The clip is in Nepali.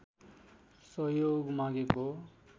सहयोग मागेको